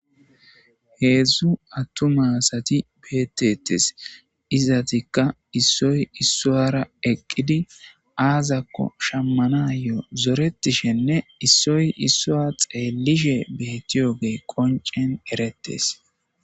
Hezhu attuma asati beetetes. Izetika issoy issara eqidi aazako shamanayo xeelishenne issoy issa xeelishe betiyagey qncen eretees.